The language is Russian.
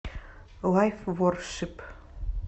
лайв воршип